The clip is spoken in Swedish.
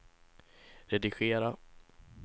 redigera